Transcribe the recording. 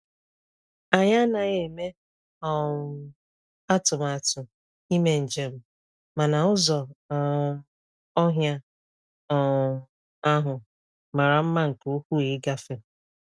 Anyị anaghị eme um atụmatụ ime njem, mana ụzọ um ọhịa um ahụ mara mma nke ukwuu ịgafe.